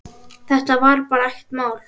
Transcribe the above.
Þetta var bara ekkert mál.